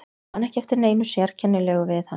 Ég man ekki eftir neinu sérkennilegu við hann.